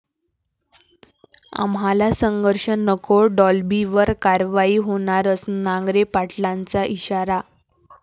आम्हाला संघर्ष नको, डॉल्बीवर कारवाई होणारच!',नांगरे पाटलांचा इशारा